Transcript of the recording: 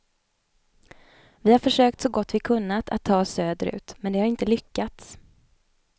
Vi har försökt så gott vi kunnat att ta oss söderut, men det har inte lyckats.